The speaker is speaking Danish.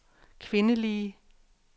kvindelige